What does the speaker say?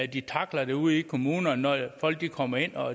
de tackler det ude i kommunerne når folk kommer ind og